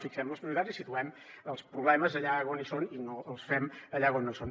fixem les prioritats i situem els problemes allà on hi són i no els fem allà on no són